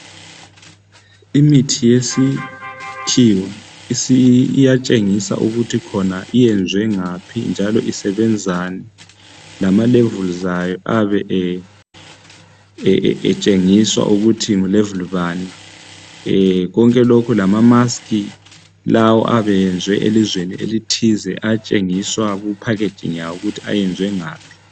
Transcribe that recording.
imithi yesikhiwa iyatshengisa ukuthi iyenzwe ngaphi njalo ukuthi isebenzani lama levels ayo ayebe etshengiswa ukuthi ngulevel bani konke lokhu lama masikhi lawa ayabe eyenze elizweni elithize ayatshengiswa kuphakheji layo ukuthi ayenzwe ngaphi.